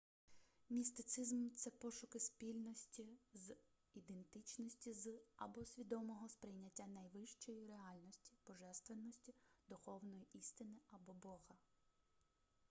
містицизм це пошуки спільності з ідентичності з або свідомого сприйняття найвищої реальності божественності духовної істини або бога